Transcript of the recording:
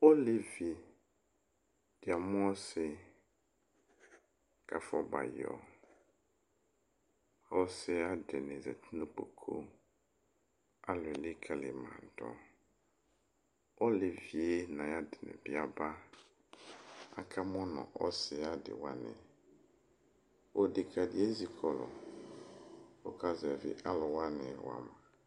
Oleʋi ɖi amu ɔsi, ku afɔ bã yɔ Ɔsiyɛ ayu aɖini yati nu ukpoku Ãlu elikali mã ɖu Oleʋi yɛ nu ayu aɖini bi ábá Aka mu nu ɔsi yɛ ayu ãdíwa ni Ɔɖeka ɖi ezikɔlu, ku ɔka zɛvi aluwani wa ma